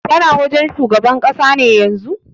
Kana wajen shugaban ƙasa ne yanzun?